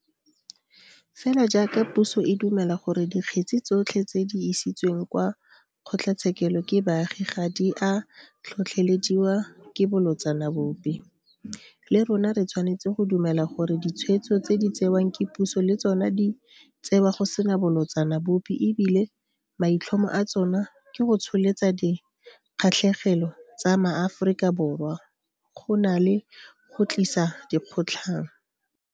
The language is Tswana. Fela jaaka puso e dumela gore dikgetse tsotlhe tse di isitsweng kwa kgotlatshekelo ke baagi ga di a tlhotlhelediwa ke bolotsana bope, le rona re tshwanetse go dumela gore ditshwetso tse di tsewang ke puso le tsona di tsewa go sena bolotsana bope e bile maitlhomo a tsona ke go tsholetsa dikgatlhegelo tsa maAforika Borwa go na le go tlisa dikgotlang.